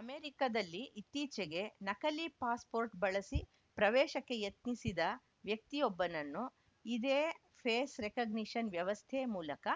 ಅಮೆರಿಕದಲ್ಲಿ ಇತ್ತೀಚೆಗೆ ನಕಲಿ ಪಾಸ್‌ಪೋರ್ಟ್‌ ಬಳಸಿ ಪ್ರವೇಶಕ್ಕೆ ಯತ್ನಿಸಿದ ವ್ಯಕ್ತಯೊಬ್ಬನನ್ನು ಇದೇ ಫೇಸ್‌ ರೆಕಗ್ನಿಷನ್‌ ವ್ಯವಸ್ಥೆ ಮೂಲಕ